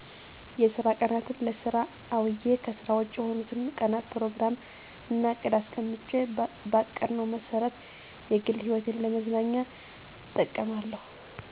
የስራ ቀናትን ለስራ አዉየ ከስራ ዉጭ የሆኑትን ቀናት ፕሮግራም እና እቅድ አስቀምጬ ባቀድነው መሰረት የግል ህይወቴን ለመዝናኛ እጠቀማለሁ